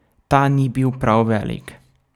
Ta ni bil prav velik.